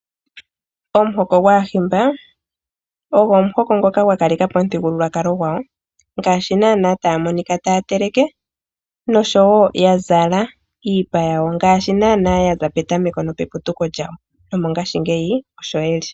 Omuhoko gwAahimba ogo omuhoko ngoka gwa kaleka po omuthigululwakalo gwawo. Ngaashi naanaa taya monika taya teleke nosho wo ya zala iipa yawo ngaashi naanaa ya za petameko nopeputuko lyawo nomongashingeyi osho ye li.